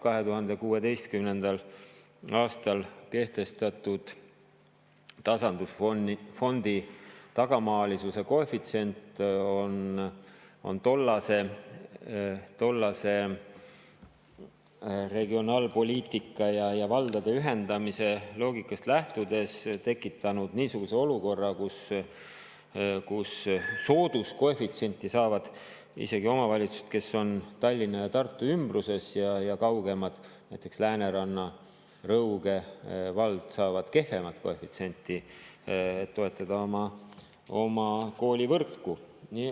2016. aastal kehtestatud tasandusfondi tagamaalisuse koefitsient on tollase regionaalpoliitika ja valdade ühendamise loogikast lähtudes tekitanud niisuguse olukorra, kus sooduskoefitsienti saavad isegi need omavalitsused, kes on Tallinna ja Tartu ümbruses, aga kaugemad – näiteks Lääneranna ja Rõuge vald – saavad kehvemat koefitsienti, et toetada oma koolivõrku.